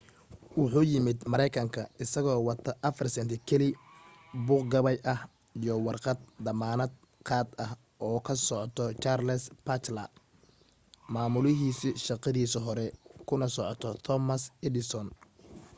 wuxuu yimid mareykanka isagoo wata 4 senti kaliya buug gabay ah iyo warqad damaanad qaad ah oo ka socota charles batchelor maamulihiisii shaqadiisii hore kuna socota thomas edison